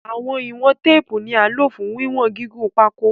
Awọn iwọn teepu ni a lo fun wiwọn gigun pako